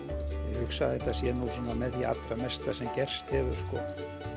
ég hugsa að þetta sé nú með því allra mesta sem gerst hefur sko